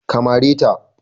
Ka mare ta!